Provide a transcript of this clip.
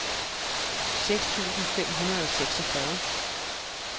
seks tusind fem hundrede og seksogfyrre